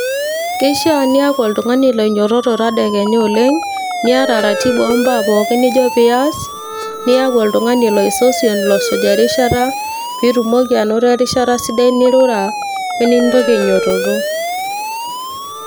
Keishaa niaku oltung'ani loinyiototo tedakenya oleng niata ratiba oombaa pooki nijo pias niaku oltung'ani loisosion losuj erishata piitumoki anoto erishata sidai nirura wenintoki ainyiototo.